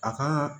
A ka